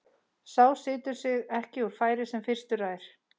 Sá situr sig ekki úr færi sem fyrstur rær.